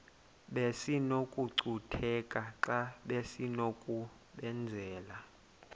besinokucutheka xa besinokubenzela